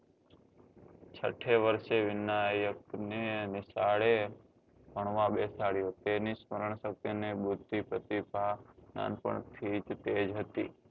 છઠે વર્ષે વિનાયક ને નિશાળે ભણવા બેસાડ્યો તેની સ્મરણ શક્તિ ને બુધિ પ્રતિભા નાનપણ થી જ તેજ હતી